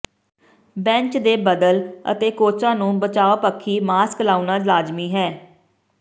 bench ਦੇ ਬਦਲ ਅਤੇ ਕੋਚਾਂ ਨੂੰ ਬਚਾਅ ਪੱਖੀ ਮਾਸਕ ਲਾਉਣਾ ਲਾਜ਼ਮੀ ਹੈ